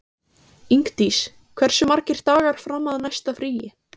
Ingdís, hversu margir dagar fram að næsta fríi?